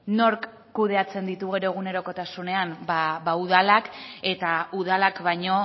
nork kudeatzen ditu gero egunerokotasunean ba udalak eta udalak baino